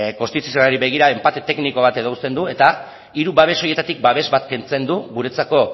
konstituzionalari begira enpate tekniko bat uzten du eta hiru babes horietatik babes bat kentzen du guretzako